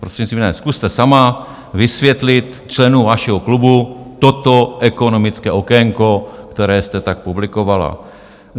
Prostřednictvím ne, zkuste sama vysvětlit členům vašeho klubu toto ekonomické okénko, které jste tak publikovala.